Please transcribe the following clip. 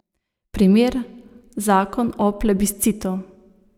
Primer, zakon o plebiscitu.